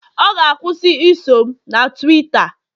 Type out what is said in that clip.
ọ ga- akwusi iso m na Tuweeta